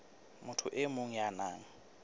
motho e mong ya nang